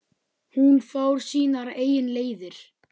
Hún fór sínar eigin leiðir.